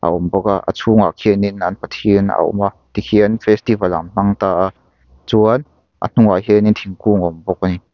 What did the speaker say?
a awm bawk a a chhungah khianin an pathian a awm a tikhian festival an hmang ta a chuan a hnungah khian thingkung a awm bawk a ni.